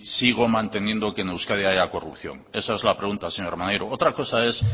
sigo manteniendo que en euskadi haya corrupción esa es la pregunta señor maneiro otra cosa es